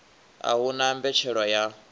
a hu na mbetshelwa ya